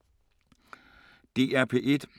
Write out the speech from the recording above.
DR P1